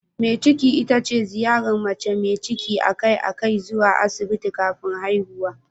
Mai ciki ita ce ziyarar mace mai ciki a kai a kai zuwa Asibiti kafin haihuwa.